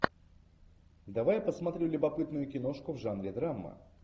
давай посмотрю любопытную киношку в жанре драма